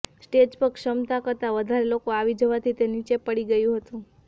stage પર ક્ષમતા કરતા વધારે લોકો આવી જવાથી તે નીચે પડી ગયું હતું